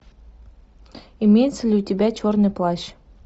имеется ли у тебя черный плащ